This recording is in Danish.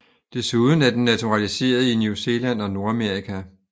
Desuden er den naturaliseret i New Zealand og Nordamerika